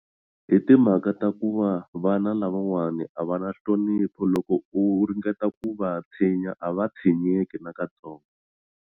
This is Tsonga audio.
Hi timhaka ta ku va vana lavawani a va na nhlonipho loko u ringeta ku va tshinya a va tshinyeki na ka tsongo.